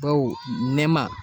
Baw nɛma.